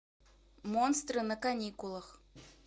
монстры на каникулах